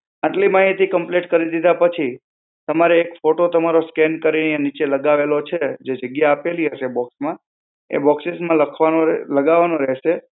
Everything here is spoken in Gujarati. આટલી માહિતી complete કરી દીધા પછી, તમારે એક photo તમારો scan કરી અહીયાં નીચે લગાવેલો છે, જે જગ્યા આપેલી હશે box માં, એ boxes માં લખવાનો લગાવાનો રહેશે.